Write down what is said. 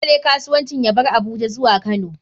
Dole ne kasuwancin ya bar Abuja zuwa kano.